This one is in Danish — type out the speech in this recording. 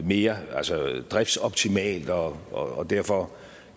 mere driftsoptimalt og og derfor